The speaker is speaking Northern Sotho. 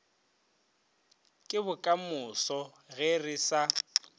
ke bokamoso ge re sa